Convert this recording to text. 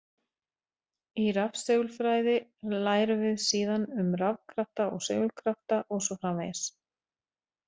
Í rafsegulfræði lærum við síðan um rafkrafta og segulkrafta og svo framvegis.